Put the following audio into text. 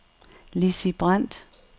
Lizzi Brandt